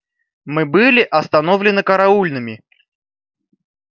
мы были остановлены караульными